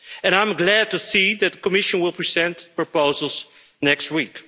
I am glad to see the Commission will present proposals next week.